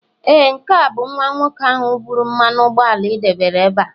ee, nke ahụ bụ nwa nwoke ahụ buru mmanụ ụgbọala ị debere ebe a